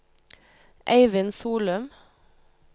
Eivind Solum